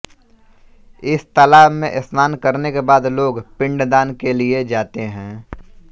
इस तालाब में स्नान करने के बाद लोग पिंड दान के लिए जाते हैं